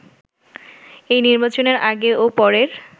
এই নির্বাচনের আগে ও পরের